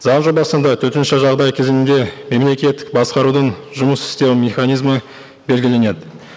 заң жобасында төтенше жағдай кезеңінде мемлекеттік басқарудың жұмыс істеу механизмі белгіленеді